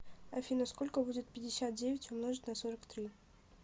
афина сколько будет пятьдесят девять умножить на сорок три